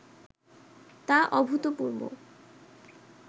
তা অভূতপূর্ব